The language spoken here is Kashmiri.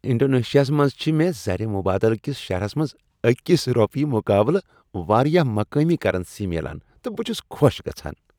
انڈونیشیاہس منٛز چھ مےٚ زر مبادلہ کس شرحس منٛز أکس روپیہ مقابلہ واریاہ مقٲمی کرنسی میلان تہٕ بہ چھُس خوش گژھان۔